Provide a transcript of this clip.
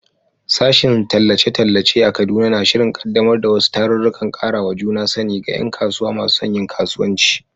Sashen Tallace-tallace a Kaduna na shirin kaddamar da wasu tarurrukan karawa juna sani ga ’yan kasuwa masu son yin kasuwanci.